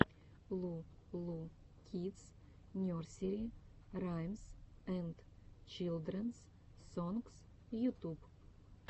лу лу кидс нерсери раймс энд чилдренс сонгс ютуб